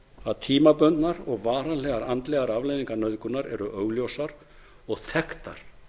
að tímabundnar og varanlegar andlegar afleiðingar nauðgunar eru augljósar og þekktar